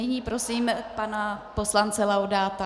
Nyní prosím pana poslance Laudáta.